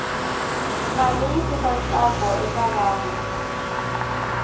mali yi tisa ntsakoeka vanhu